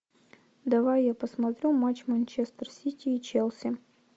давай я посмотрю матч манчестер сити и челси